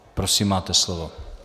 Prosím, máte slovo.